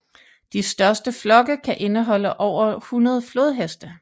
De største flokke kan indeholde over 100 flodheste